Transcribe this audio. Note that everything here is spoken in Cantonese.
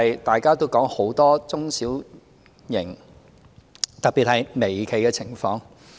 大家也談到很多中小型企業，特別是微企的情況。